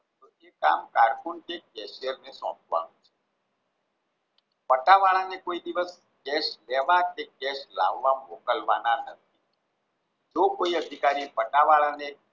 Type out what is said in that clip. પટાવાળા ને કોઈ દિવશ કેસ લાવવા કે કેસ લેવા મોકલવા ના નથી જો કોઈ અધિકારી એ પટ્ટાવાળાને